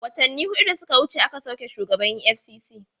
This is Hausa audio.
Watanni hudu da suka wuce aka sauki shugaban EFCC.